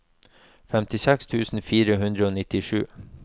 femtiseks tusen fire hundre og nittisju